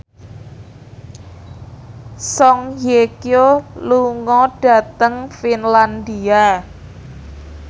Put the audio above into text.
Song Hye Kyo lunga dhateng Finlandia